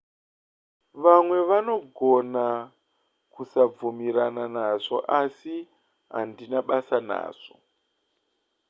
vamwe vanogona kusabvumirana nazvo asi handina basa nazvo